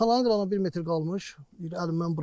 Kanalın qırağına bir metr qalmış əlimdən buraxdı.